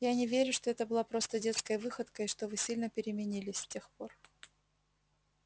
я не верю что это была просто детская выходка и что вы сильно переменились с тех пор